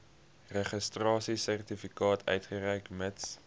registrasiesertifikaat uitreik mits